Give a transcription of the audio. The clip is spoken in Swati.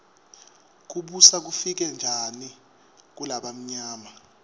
kubusa kufike njani kulabamyama